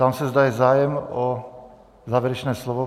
Ptám se, zda je zájem o závěrečné slovo.